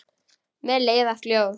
Mér leiðast ljóð.